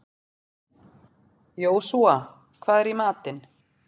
Jósúa, hvað er í matinn?